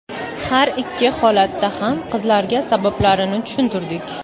Har ikki holatda ham qizlarga sabablarini tushuntirdik.